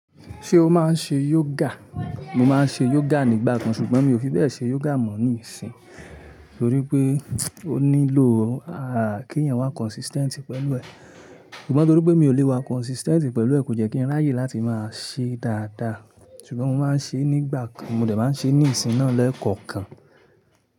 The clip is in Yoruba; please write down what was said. Ṣé o máa ń ṣe yoga? Mo máa ń ṣe yoga nígbà kan ṣùgbọ́n mi ò fi bẹ́ẹ̀ ṣe yoga mọ̀ ní ìsìn. Nítorí pé ó nílò kí ẹ̀yin wá consistent pẹ̀lú ẹ̀. Ṣùgbọ́n torí pé mi ò lè wá consistent pẹ̀lú ẹ̀, kò jẹ́ kí n ráyè láti máa ṣe dáadáa. Ṣùgbọ́n mo máa ń ṣe é nígbà kan, mo dẹ̀ máa ń ṣe é ní ìsìn náà lẹ́ẹ̀kọ̀kan.